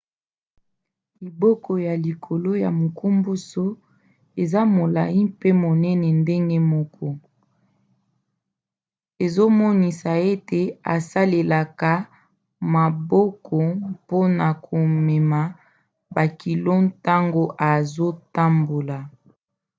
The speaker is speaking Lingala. liboko na likolo ya munkomboso eza molai mpe monene ndenge moko ezomonisa ete asalelaka maboko mpona komema bakilo ntango azotambola